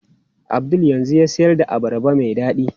Abdul yanzu yana siyar da abarba mai dadi.